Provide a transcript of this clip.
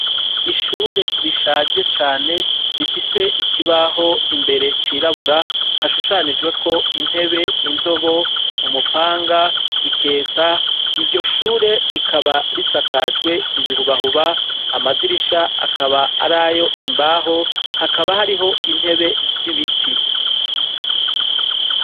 Ishure rishaje cane rifise ikibaho imbere cirabura, hashushanijweko intebe, indobo, umupanga, iketa. Iryo shure rikaba risakajwe ibihubahuba, amadirisha akaba arayo imbaho, hakaba hariho intebe z'ibiti.